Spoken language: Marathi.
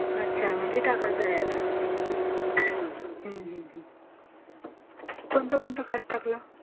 अच्छा म्हणजे टाकायचं आहे आता. कोणतं कोणतं खत टाकलं?